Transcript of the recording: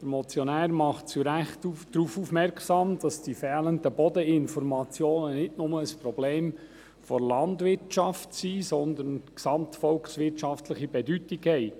– Der Motionär macht zu Recht darauf aufmerksam, dass die fehlenden Bodeninformationen nicht nur ein Problem der Landwirtschaft, sondern von gesamtvolkswirtschaftlicher Bedeutung haben.